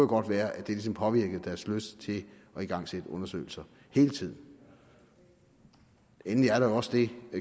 godt være at det ligesom påvirkede deres lyst til at igangsætte undersøgelser hele tiden endelig er der også det